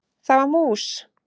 Það var mús!